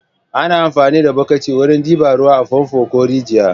Ana amfani da bokiti wurin ɗiba ruwa a famfo ko rijiya.